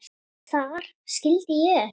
Þar skildi ég ekkert.